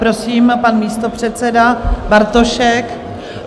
Prosím, pan místopředseda Bartošek.